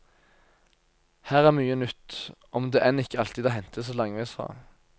Her er mye nytt, om det enn ikke alltid er hentet så langveis fra.